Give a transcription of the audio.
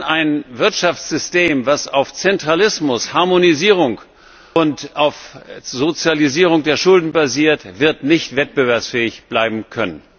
Ein Wirtschaftssystem, das auf Zentralismus, Harmonisierung und auf Sozialisierung der Schulden basiert, wird nicht wettbewerbsfähig bleiben können.